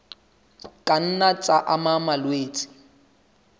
ka nna tsa ama malwetse